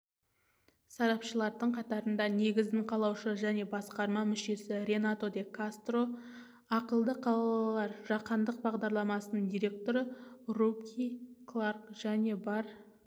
сарапшылардың қатарында негізін қалаушы және басқарма мүшесі ренато де кастро ақылды қалалар жаһандық бағдарламасының директоры ругби кларк және бар